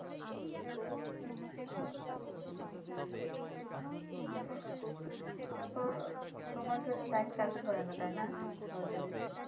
তারপর তোমার কেউ চাকরি করেনা তাই না সরকারি?